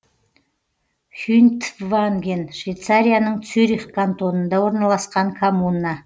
хюнтванген швейцарияның цюрих кантонында орналасқан коммуна